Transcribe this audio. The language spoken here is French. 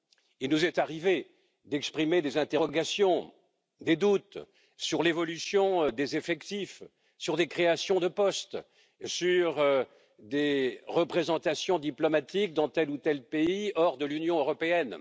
Il nous est arrivé d'exprimer des interrogations, des doutes sur l'évolution des effectifs, sur des créations de poste, sur des représentations diplomatiques dans tel ou tel pays hors de l'Union européenne.